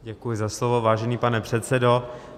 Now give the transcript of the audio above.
Děkuji za slovo, vážený pane předsedo.